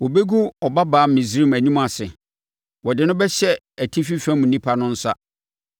Wɔbɛgu Ɔbabaa Misraim anim ase, wɔde no bɛhyɛ atifi fam nnipa no nsa.”